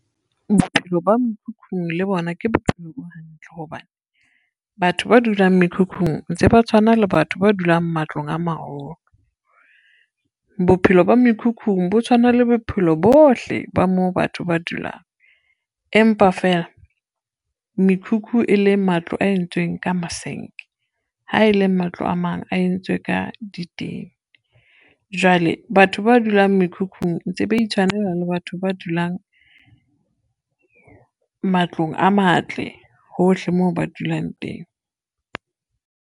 Bophelo ba mekhukhung le bona ke bophelo bo hantle hobane, batho ba dulang mekhukhung ntse ba tshwana le batho ba dulang matlong a maholo. Bophelo ba mekhukhung bo tshwana le bophelo bohle ba moo batho ba dulang, empa feela mekhukhu e leng matlo a entsweng ka masenke, ha e le matlo a mang a entswe ka ditene. Jwale batho ba dulang mekhukhung ntse ba itshwanela le batho ba dulang, matlong a matle hohle moo ba dulang teng.